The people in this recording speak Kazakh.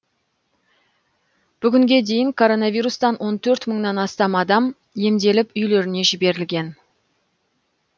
бүгінге дейін коронавирустан он төрт мыңнан астам адам емделіп үйлеріне жіберілген